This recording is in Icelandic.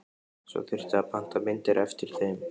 Svo þyrfti að panta myndir eftir þeim.